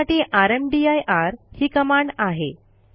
त्यासाठी रामदीर ही कमांड आहे